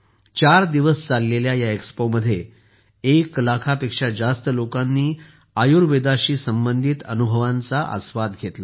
चार दिवस चाललेल्या या एक्स्पोमध्ये एक लाखापेक्षा जास्त लोकांनी आयुर्वेदाशी संबंधित अनुभवांचा आस्वाद घेतला